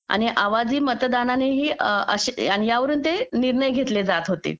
आणि आवाजही मतदानाने आणि अशा यावरून ते निर्णय घेतले जात होते